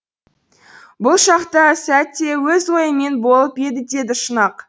бұл шақта сәт те өз ойымен болып еді деді шұнақ